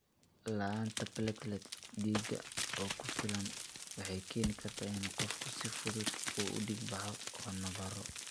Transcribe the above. La'aanta platelets dhiig oo ku filan waxay keeni kartaa in qofku si fudud u dhiig baxo oo nabarro.